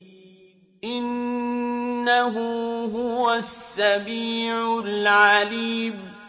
إِنَّهُ هُوَ السَّمِيعُ الْعَلِيمُ